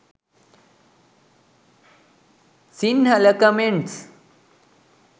sinhala comments